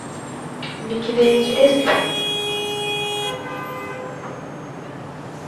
для тебя интересный фильм